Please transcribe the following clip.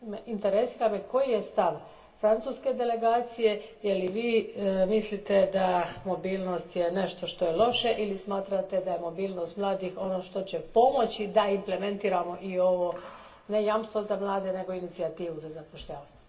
Interesira me koji je stav francuske delegacije, je li Vi mislite da je mobilnost nešto što je loše ili smatrate da je mobilnost mladih ono što će pomoći da implementiramo i ovo, ne jamstvo za mlade, nego inicijativu za zapošljavanje?